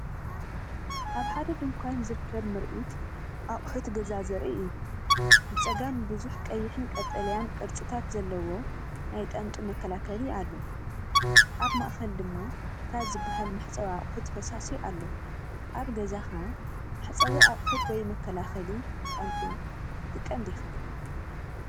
ኣብ ሓደ ድኳን ዝርከብ ምርኢት ኣቑሑት ገዛ ዘርኢ እዩ። ብጸጋም ብዙሕ ቀይሕን ቀጠልያን ቅርጽታት ዘለዎ ናይ ጣንጡ መከላከሊ ኣሎ። ኣብ ማእከል ድማ ታዛ ዝበሃል መሕጸቢ ኣቁሑት ፈሳሲ ኣሎ። ኣብ ገዛኻ መሕጸቢ ኣቁሑት ወይ መከላኸሊ ጣንጡ ትጥቀም ዲኻ?